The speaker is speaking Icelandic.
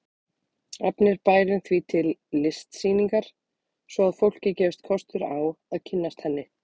Efnir bærinn því til listsýningar svo að fólki gefist kostur á að kynnast henni.